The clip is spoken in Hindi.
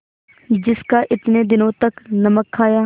जिसका इतने दिनों तक नमक खाया